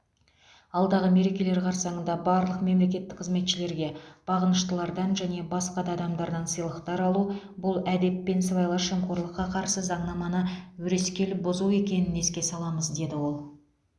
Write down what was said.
алдағы мерекелер қарсаңында барлық мемлекеттік қызметшілерге бағыныштылардан және басқа да адамдардан сыйлықтар алу бұл әдеп пен сыбайлас жемқорлыққа қарсы заңнаманы өрескел бұзу екенін еске саламыз деді ол